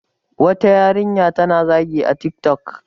wata yarinya ta na zagi a tik tok